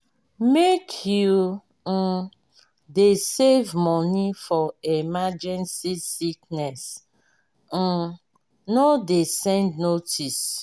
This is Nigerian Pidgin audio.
make you um dey save money for emergency sickness um no dey send notice.